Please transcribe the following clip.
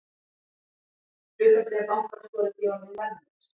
Hlutabréf bankans voru því orðin verðlaus